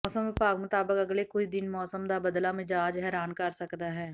ਮੌਸਮ ਵਿਭਾਗ ਮੁਤਾਬਿਕ ਅਗਲੇ ਕੁਝ ਦਿਨ ਮੌਸਮ ਦਾ ਬਦਲਾ ਮਿਜਾਜ ਹੈਰਾਨ ਕਰ ਸਕਦਾ ਹੈ